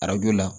Arajo la